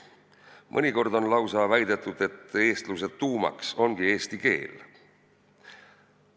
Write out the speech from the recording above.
Mõnikord on lausa väidetud, et eestluse tuumaks ongi eesti keel.